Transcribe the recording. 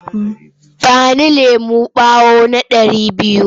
Ba ni lemon ɓawo na ɗari biyu!